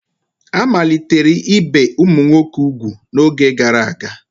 A malitere ibe ụmụ nwoke ugwu n'oge gara aga